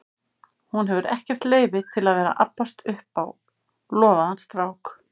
Hún hefur ekkert leyfi til að vera að abbast upp á lofaðan strák.